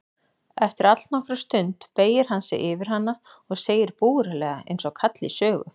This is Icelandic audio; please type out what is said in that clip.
Eftir allnokkra stund beygir hann sig yfir hana og segir búralega einsog kall í sögu